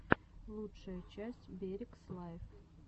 лучшая часть берегс лайв